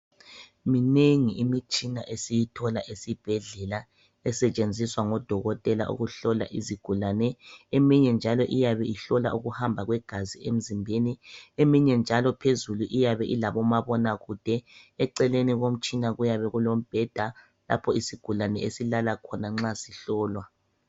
Minengi imitshina esiyithola esibhedlela esetshenziswa ngodokotela ukuhlola izigulane. Eminye njalo iyabe ihlola ukuhamba kwegazi emzimbeni eminye njalo phezulu iyabe ilabomabonakude. Eceleni komtshina kuyabe kulombheda lapho isigulane esilala khona nxa sihlolwa.